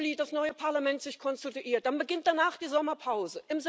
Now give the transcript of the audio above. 2. Juli das neue Parlament konstituiert, dann beginnt danach die Sommerpause.